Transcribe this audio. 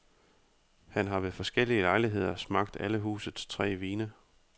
Han har ved forskellige lejligheder smagt alle husets tre vine.